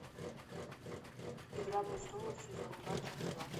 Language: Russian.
игра престолов сезон два часть два